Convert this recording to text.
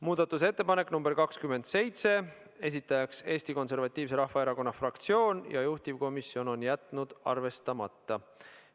Muudatusettepanek nr 27, esitajaks on Eesti Konservatiivse Rahvaerakonna fraktsioon ja juhtivkomisjon on jätnud selle arvestamata.